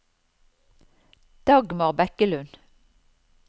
Dagmar Bekkelund